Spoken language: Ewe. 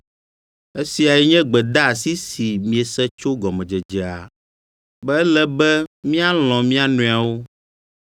Esiae nye gbedeasi si miese tso gɔmedzedzea, be ele be míalɔ̃ mía nɔewo.